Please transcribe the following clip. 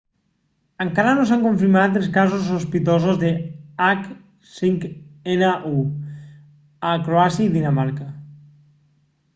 encara no s'han confirmat els casos sospitosos de h5n1 a croàcia i dinamarca